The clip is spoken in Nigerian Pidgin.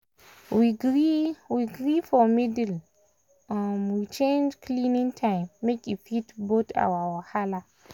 we gree we gree for middle um we um change um cleaning time make e fit both our wahala